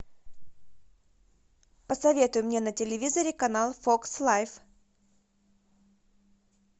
посоветуй мне на телевизоре канал фокс лайф